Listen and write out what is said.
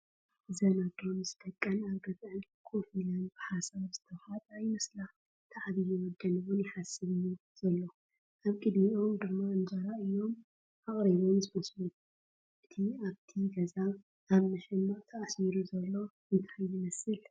እዘን ኣዶ ምስ ደቐን ኣብ ገዝኣን ከፍ ኢለን ብሓሳብ ዝተዋሓጣ ይመስላ ፡ እቲ ዓብይ ወደን'ውን ይሓስብ'ዩ ዘሎ። አብ ቕድሚኦም ድማ እንጀራ እዮም ኣቕሪቦም ዝመስሉ ፡ እቲ ኣብት ገዛ ኣብ መሸማዕ ተኣሱሩ ዘሎ እንታይ ይመስል ?